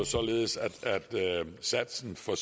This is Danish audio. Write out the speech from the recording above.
således at satsen for